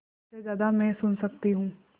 सबसे ज़्यादा मैं सुन सकती हूँ